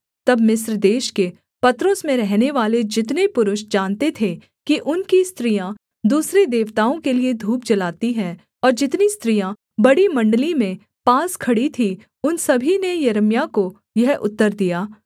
तब मिस्र देश के पत्रोस में रहनेवाले जितने पुरुष जानते थे कि उनकी स्त्रियाँ दूसरे देवताओं के लिये धूप जलाती हैं और जितनी स्त्रियाँ बड़ी मण्डली में पास खड़ी थी उन सभी ने यिर्मयाह को यह उत्तर दिया